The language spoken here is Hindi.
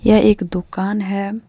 यह एक दुकान है।